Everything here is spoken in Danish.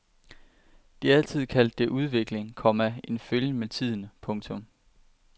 De har altid kaldt det udvikling, komma en følgen med tiden. punktum